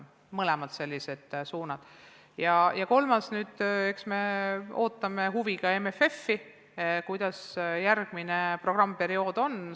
Kolmandaks, eks me ootame huviga MFF-i, kuidas järgmine programmiperiood kujuneb.